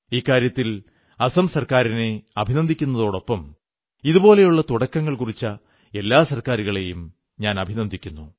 ഇക്കാര്യത്തിൽ അസം സർക്കാരിനെ അഭിനന്ദിക്കുന്നതോടൊപ്പം ഇതുപോലുള്ള തുടക്കങ്ങൾ കുറിച്ച എല്ലാ സർക്കാരുകളെയും അഭിനന്ദിക്കുന്നു